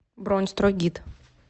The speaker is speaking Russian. бронь стройгид